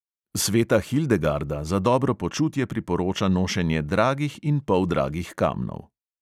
Sveta hildegarda za dobro počutje priporoča nošenje dragih in poldragih kamnov.